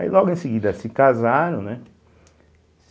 Aí logo em seguida se casaram, né?